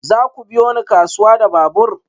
Za ku biyo ni kasuwa da babur?